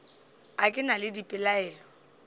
a ke na le dipelaelo